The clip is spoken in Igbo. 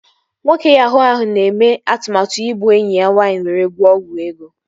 Nwoke yahuu ahụ na-eme atụmatụ igbu enyi ya nwaanyị were gwọọ ọgwụ ego